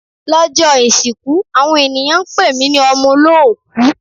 Lọ́jọ́ ìsìnkú àwọn ènìyàn ń pè mí ní ọmọ olóòkú.